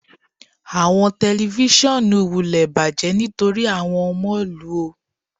Awọn tẹlifisiọnu wulẹ spoiled nitori awọn ọmọ lu o